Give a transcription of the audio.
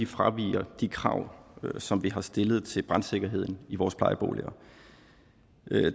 fraviger de krav som vi har stillet til brandsikkerheden i vores plejeboliger